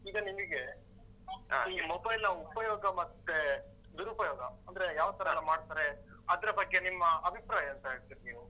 ಈಗ ನಿಮಿಗೆ ಈ mobile ನ ಉಪಯೋಗ ಮತ್ತೆ ದುರುಪಯೋಗ. ಅಂದ್ರೆ ಯಾವ ತರಯೆಲ್ಲ ಮಾಡ್ತಾರೆ ಅದ್ರ ಬಗ್ಗೆ ನಿಮ್ಮ ಅಭಿಪ್ರಾಯ ಎಂತ ಹೇಳ್ತಿರಿ ನೀವು?